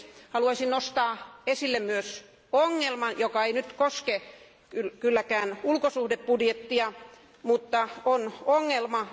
Haluaisin nostaa esille myös ongelman, joka ei koske kylläkään ulkosuhdebudjettia, mutta on ongelma.